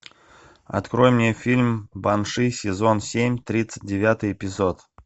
открой мне фильм банши сезон семь тридцать девятый эпизод